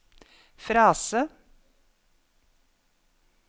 frase